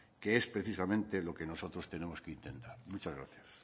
que es precisamente lo que nosotros tenemos que intentar muchas gracias